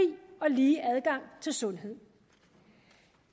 og lige adgang til sundhed